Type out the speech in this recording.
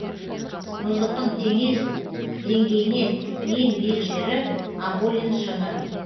мұздықтың теңіз деңгейінен ең биік жері аболин шыңы